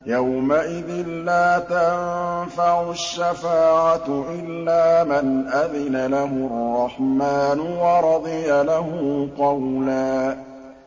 يَوْمَئِذٍ لَّا تَنفَعُ الشَّفَاعَةُ إِلَّا مَنْ أَذِنَ لَهُ الرَّحْمَٰنُ وَرَضِيَ لَهُ قَوْلًا